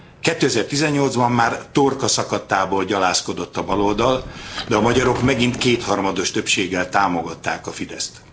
2018 ban már torkaszakadtából gyalázkodott a baloldal, de a magyarok megint kétharmados többséggel támogatták a Fideszt.